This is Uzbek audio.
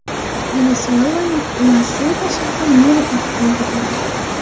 Venesuelaning La-Seyba shahri meri otib o‘ldirildi.